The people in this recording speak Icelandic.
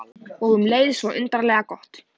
Og um leið svo undarlega gott.